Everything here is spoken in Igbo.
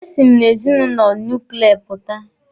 E si m n'ezinụlọ nuklia pụta.